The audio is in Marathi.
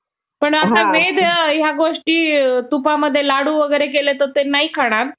गोठणबिंदूच्या खाली उतरते तर तेथील द्रवीय प्रदेशातील थंड हवेचा दाट थर जमिनीवर निर्माण होतो त्यामुळे वातावरणात